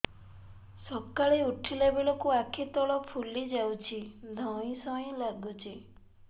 ସକାଳେ ଉଠିଲା ବେଳକୁ ଆଖି ତଳ ଫୁଲି ଯାଉଛି ଧଇଁ ସଇଁ ଲାଗୁଚି